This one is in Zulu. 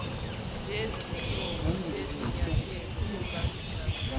zezinhlobo zezinyathelo ongazithatha